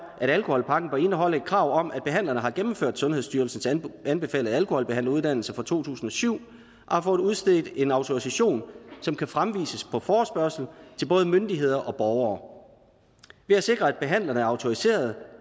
at alkoholpakken bør indeholde et krav om at behandlerne har gennemført sundhedsstyrelsens anbefalede alkoholbehandleruddannelse fra to tusind og syv og har fået udstedt en autorisation som kan fremvises på forespørgsel til både myndigheder og borgere ved at sikre at behandlerne er autoriserede